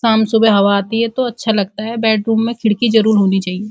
शाम सुबह हवा आती है तो अच्छा लगता है। बैडरूम में खिड़की जरूर होनी चाहिए।